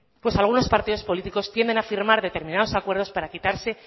pues algunos partido políticos tienden a firmar determinados acuerdos para quitarse